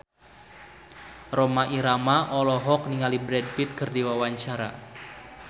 Rhoma Irama olohok ningali Brad Pitt keur diwawancara